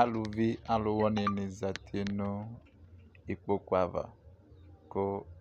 Alʋvɩ alʋ wɩnɩ zatɩ nʋ ɩkpokʋ ava kʋ